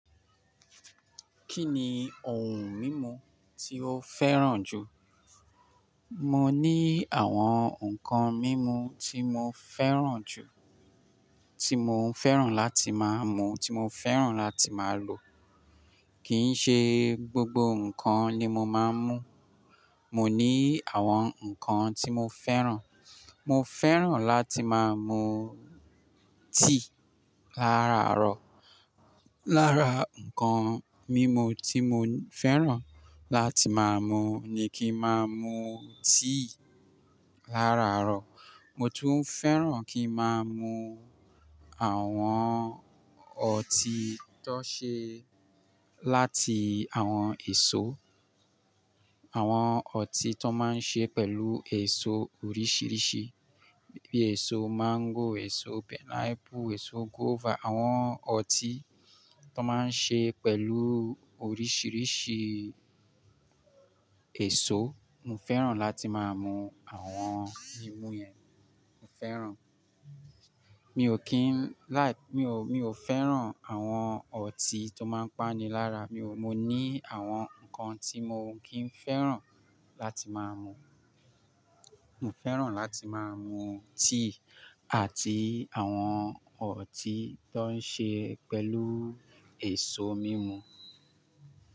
Kí ni ohun mímu tí o fẹ́ràn jù? Mo ní àwọn nǹkan mímu tí mo fẹ́ràn jù, tí mo ń fẹ́ràn láti máa mú, tí mo fẹ́ràn láti máa lò. Kì í ṣe gbogbo nǹkan ni mo máa ń mú. Mo ní àwọn nǹkan tí mo fẹ́ràn. Mo fẹ́ràn láti máa mú tíì lára àárọ̀. Lára nǹkan mímu tí mo fẹ́ràn láti máa mú ni kí máa mú tíì lára àárọ̀. Mo tún fẹ́ràn kí máa mú àwọn ọtí tó ṣe láti àwọn èso. Àwọn ọtí tó máa ń ṣe pẹ̀lú èso oríṣìíríṣìí bí èso máńgò, èso pineapple, èso guava. Àwọn ọtí tó máa ń ṣe pẹ̀lú oríṣìíríṣìí èso. Mo fẹ́ràn láti máa mú àwọn mímu yẹn. Mo fẹ́ràn. Mi ò kín láì, mi ò, mi ò fẹ́ràn àwọn ọtí tó máa ń páni lára. Mi ò, mo ní àwọn nǹkan tí mo kì ń fẹ́ràn láti máa mú. Mo fẹ́ràn láti máa mú tíì àti àwọn ọtí tó ń ṣe pẹ̀lú èso mímu.